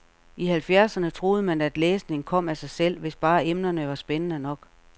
I halvfjerdserne troede man, at læsning kom af sig selv, hvis bare emnerne var spændende nok.